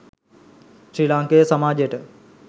ශ්‍රී ලාංකේය සමාජයට